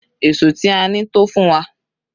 Èṣó tí a ní tó fún wa.